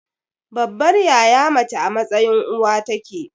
Babbar yaya mace a mtsayin uwa take.